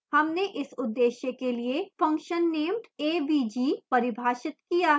हमने इस उद्देश्य के लिए function named avg परिभाषित किया है